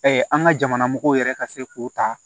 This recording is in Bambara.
an ka jamana mɔgɔw yɛrɛ ka se k'o ta